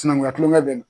Sinankunya kulonkɛ bɛ na